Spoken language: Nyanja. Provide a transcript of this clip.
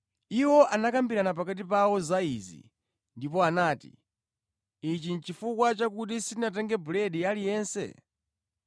Iwo anakambirana pakati pawo za izi ndipo anati, “Ichi nʼchifukwa chakuti sitinatenge buledi aliyense.”